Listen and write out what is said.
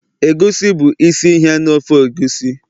egusi bụ isi ihe na ofe egusi